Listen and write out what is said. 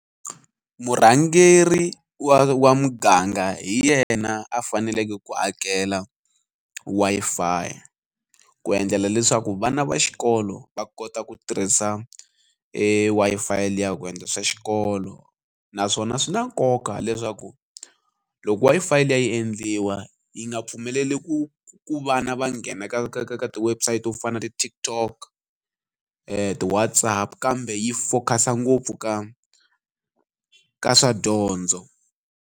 Murhangeri wa wa muganga hi yena a faneleke ku akela Wi-Fi ku endlela leswaku vana va xikolo va kota ku tirhisa e Wi-Fi liya ku endla swa xikolo naswona swi na nkoka leswaku loko Wi-Fi liya yi endliwa yi nga pfumeleli ku ku vana va nghena ka ka ka ka ti-website to fana na TikTok ti-Whatsapp kambe yi focus ngopfu ka ka swa dyondzo.